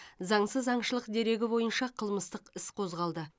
заңсыз аңшылық дерегі бойынша қылмыстық іс қозғалды